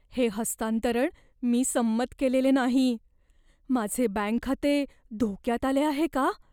हे हस्तांतरण मी संमत केलेले नाही. माझे बँक खाते धोक्यात आले आहे का?